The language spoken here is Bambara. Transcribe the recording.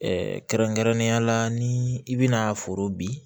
kɛrɛnkɛrɛnnenya la ni i bɛna foro bin